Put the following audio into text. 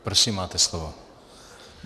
Prosím, máte slovo.